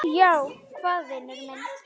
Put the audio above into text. Já, hvað vinur minn?